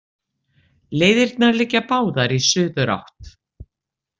Leiðirnar liggja báðar í suðurátt